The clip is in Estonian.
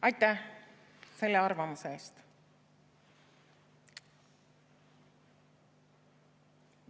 Aitäh selle arvamuse eest!